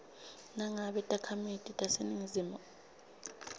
nangabe takhamiti taseningizimu